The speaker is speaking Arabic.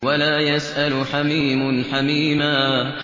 وَلَا يَسْأَلُ حَمِيمٌ حَمِيمًا